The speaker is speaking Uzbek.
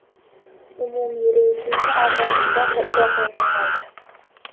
Umumiy reytingni Afg‘oniston va Iroq yakunlaydi.